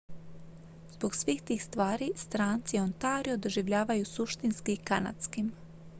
zbog svih tih stvari stranci ontario doživljavaju suštinski kanadskim